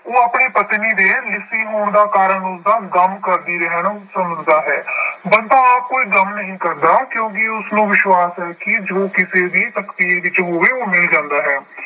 ਉਹ ਆਪਣੀ ਪਤਨੀ ਦੇ ਲਿੱਸੀ ਹੋਣ ਦਾ ਕਾਰਨ ਉਸਦਾ ਗਮ ਕਰਦੀ ਰਹਿਣ ਨੂੰ ਸਮਝਦਾ ਹੈ ਬੰਤਾ ਆਪ ਕੋਈ ਗਮ ਨਹੀਂ ਕਰਦਾ ਕਿਉਂਕਿ ਉਸਨੂੰ ਵਿਸ਼ਵਾਸ ਹੈ ਕਿ ਜੋ ਕਿਸੇ ਦੀ ਤਕਦੀਰ ਵਿੱਚ ਹੋਵੇ ਉਹ ਮਿਲ ਜਾਂਦਾ ਹੈ।